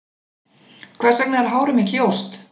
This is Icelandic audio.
Hvers vegna er hárið mitt ljóst?